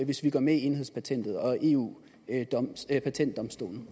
hvis vi går med i enhedspatentet og eu patentdomstolen